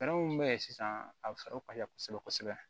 Fɛɛrɛ min bɛ yen sisan a bɛ fɛɛrɛw ka kosɛbɛ kosɛbɛ